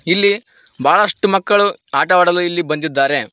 ಇಲ್ಲಿ ಬಹಳಷ್ಟು ಮಕ್ಕಳು ಆಟವಾಡಲು ಇಲ್ಲಿ ಬಂದಿದ್ದಾರೆ.